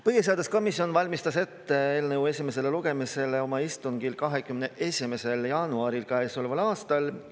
Põhiseaduskomisjon valmistas eelnõu esimest lugemist ette oma istungil 21. jaanuaril käesoleval aastal.